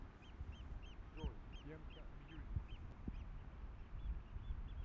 джой тенка мьюзик